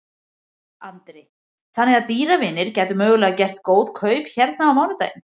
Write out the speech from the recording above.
Andri: Þannig að dýravinir gætu mögulega gert góð kaup hérna á mánudaginn?